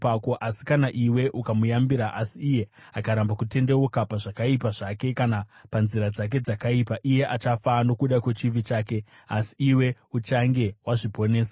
Asi kana iwe ukamuyambira asi iye akaramba kutendeuka pazvakaipa zvake kana panzira dzake dzakaipa, iye achafa nokuda kwechivi chake, asi iwe uchange wazviponesa.